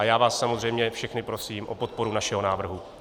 A já vás samozřejmě všechny prosím o podporu našeho návrhu.